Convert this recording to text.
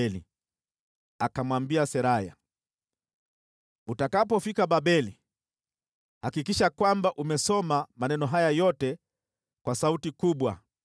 Yeremia akamwambia Seraya, “Utakapofika Babeli, hakikisha kwamba umesoma maneno haya yote kwa sauti kubwa.